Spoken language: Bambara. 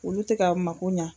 Olu te ka mako ɲa